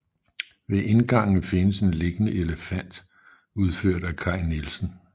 Ved indgangen findes en liggende elefant udført af Kai Nielsen